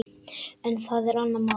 En það er annað mál.